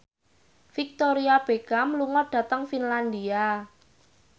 Victoria Beckham lunga dhateng Finlandia